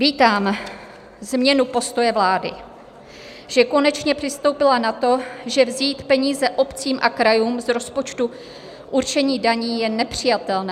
Vítám změnu postoje vlády, že konečně přistoupila na to, že vzít peníze obcím a krajům z rozpočtu určení daní je nepřijatelné.